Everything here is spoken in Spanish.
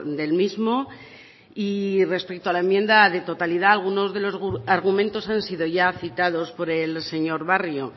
del mismo y respecto a la enmienda de totalidad algunos de los argumentos han sido ya citados por el señor barrio